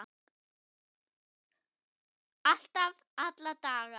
Alltaf, alla daga.